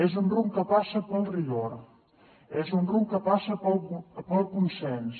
és un rumb que passa pel rigor és un rumb que passa pel consens